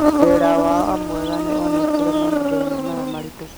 Wĩra wao mwega nĩ woonekire mahinda-inĩ maya maritũ